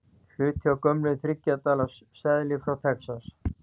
Hluti af gömlum þriggja dala seðli frá Texas.